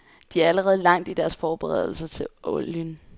De er allerede langt i deres forberedelser til olien.